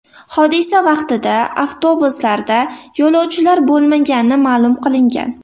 Hodisa vaqtida avtobuslarda yo‘lovchilar bo‘lmagani ma’lum qilingan.